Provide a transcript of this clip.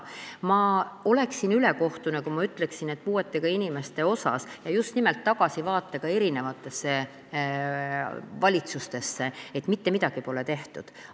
Ma oleksin ülekohtune, kui ma ütleksin, just nimelt tagasi vaadates eri valitsustele, et puuetega inimeste heaks pole mitte midagi tehtud.